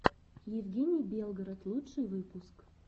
евгений белгород лучший выпуск